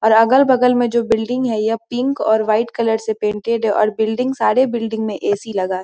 और अगल-बगल में जो बिल्डिंग है यह पिंक और वाइट कलर से पेंटेड हैं और बिल्डिंग सारे बिल्डिंग में ए.सी. लगा --